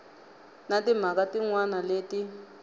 na timhaka tin wana leti